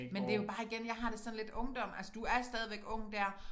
Men det jo bare igen jeg har det sådan lidt ungdom altså du er stadigvæk ung dér